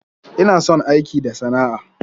Ina son aiki da sana'a,